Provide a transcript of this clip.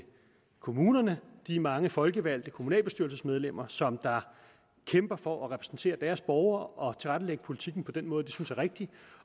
kommunerne de mange folkevalgte kommunalbestyrelsesmedlemmer som kæmper for at repræsentere deres borgere og tilrettelægge politikken på den måde de synes er rigtig